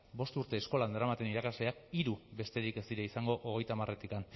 bost urte eskolan daramaten irakasleak hiru besterik ez dira izango hogeita hamaretik